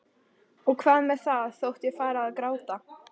Og hvað með það þótt ég færi að gráta?